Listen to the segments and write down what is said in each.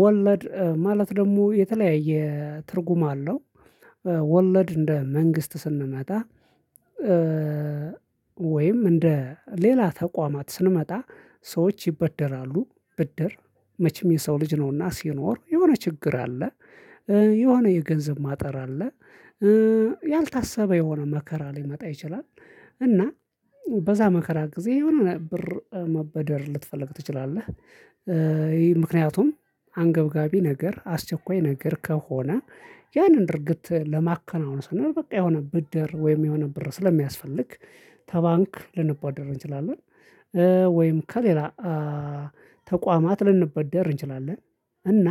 ወለድ ማለት ደግሞ የተለያየ ትርጉም አለው ወለድ እንደ መንግስት ስንመጣ ወይም እንደ ሌላ ተቋማት ስንመጣ ሰዎች ይበደራሉ ብድር መቼም የሰው ልጅ ነውና ሲኖር የሆነ ችግር አለ። የሆነ የገንዘብ ማጣር አለ። ያልታሰበ የሆነ መከራ ሊመጣ ይችላል እና በዛ መከራ ጊዜ የሆነ ብር መበደር ልትፈልግ ትችላለህ ይሄ ምክንያቱም አንገብጋቢ ነገር አስቸኳይ ነገር ከሆነ ያንን ድርጊት ለማከናወን ስንል በቃ የሆነ ብድር ወይም የሆነ ብር ስለሚያስፈልግ ተባንክ ልንበደር እንችላለን ወይም ከሌላ ተቋማት ልንበደር እንችላለን እና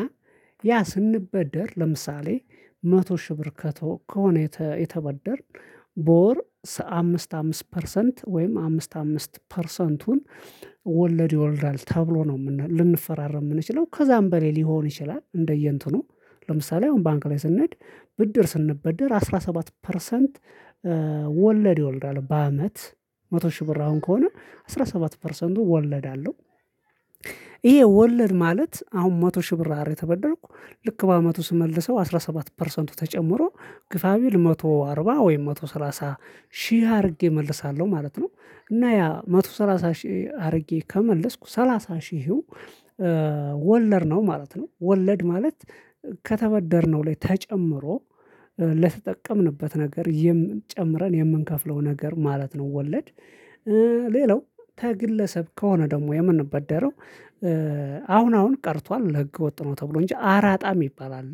ያ ስንበደር ለምሳሌ መቶ ሺህ ብር ከቶ ከሆነ የተበደርን በወር አምስት አምስት ፐርሰንት ወይም አምስት አምስት ፐርሰንቱን ወለድ ይወልዳል ተብሎ ነው ልንፈራረም የምንችለው ከዛም በሌላ ሊሆን ይችላል እንደየእንትኑ ለምሳሌ አሁን ባንክ ላይ ስንሄድ ብድር ስንበደር አስራ ሰባት ፐርሰንት ወለድ ይወልዳል በአመት መቶ ሺህ ብር አሁን ከሆነ አስራ ሰባት ፐርሰንቱ ወለድ አለው። ይሄ ወለድ ማለት አሁን መቶ ሺህ ብር አደል የተበደረኩ ልክ በአመቱ ስመልሰው አስራ ሰባት ፐርሰንቱ ተጨምሮ ግፋቢል መቶ አርባ ወይም መቶ ሰላሳ ሺህ አርጌ እመልሳለሁ ማለት ነው እና ያ መቶ ሰላሳ ሺህ አድርጌ ከመለስኩ ሰላሳ ሺህው ወለድ ነው ማለት ነው ወለድ ማለት ከተበደርነው ላይ ተጨምሮ ለተጠቀምንበት ነገር የምን ጨምረን የምንከፍለው ነገር ማለት ነው ወለድ ሌላው ተግለሰብ ከሆነ ደግሞ የምንበደረው አሁን አሁን ቀርቷል ህገ ወጥ ነው ተብሎ እንጂ አራጣ ሚባል አለ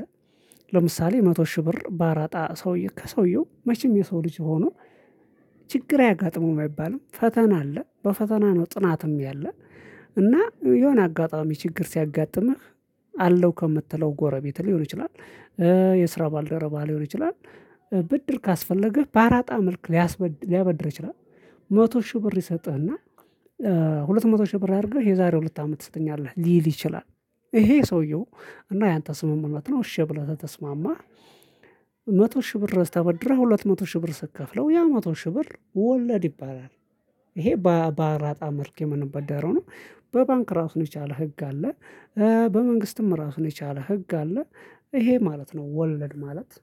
ለምሳሌ መቶ ሺህ ብር ባራጣ ሰውየው ከሰውየው መቼም የሰው ልጅ ሆኖ ችግር አያጋጥመውም አይባልም ፈተና አለ በፈተና ነው ጥናትም ያለ እና የሆነ አጋጣሚ ችግር ሲያጋጥምህ አለው ከምትለው ጎረቤት ሊሆን ይችላል የስራ ባልደረባ ሊሆን ይችላል ብድር ካስፈለገህ በአራጣ መልክ ሊያስበድር ሊያበድር ይችላል መቶ ሺህ ብር ይሰጥህና ሁለት መቶ ሺህ ብር አድርገህ የዛሬው ሁለት አመት ትሰጠኛለህ ሊል ይችላል ይሄ ሰውየው እና ያንተ ስምምነት ነው እሺ ብለህ ተስማማህ መቶ ሺህ ብር ረስተህ ተበድረህ ሁለት መቶ ሺህ ብር ስትከፍለው ያ መቶ ሺህ ብር ወለድ ይባላል ይሄ በአራጣ መልክ የምንበደረው ነው በባንክ ራሱን የቻለ ህግ አለ በመንግስትም ራሱን የቻለ ህግ አለ ይሄ ማለት ነው ወለድ ማለት